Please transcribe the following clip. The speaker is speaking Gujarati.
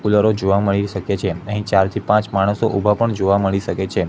કુલરો જોવા મળી શકે છે આહિ ચાર થી પાંચ માણસો ઉભા પણ જોવા મળી શકે છે.